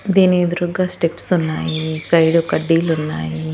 దీని ఎదురుగ్గా స్టెప్స్ ఉన్నాయి సైడు కడ్డీలున్నాయి.